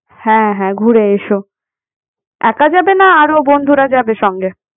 হ্যাঁ হ্যাঁ ঘুরে এসো। একা যাবে না আরো বন্ধুরা যাবে সঙ্গে?